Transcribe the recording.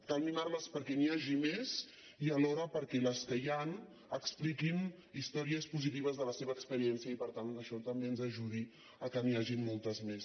cal mimarles perquè n’hi hagi més i alhora perquè les que hi han expliquin històries positives de la seva experiència i per tant que això també ens ajudi que n’hi hagin moltes més